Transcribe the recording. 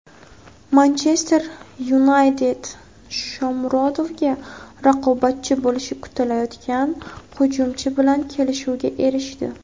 "Manchester Yunayted" Shomurodovga raqobatchi bo‘lishi kutilayotgan hujumchi bilan kelishuvga erishdi;.